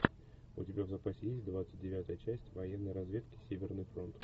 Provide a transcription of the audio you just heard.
у тебя в запасе есть двадцать девятая часть военной разведки северный фронт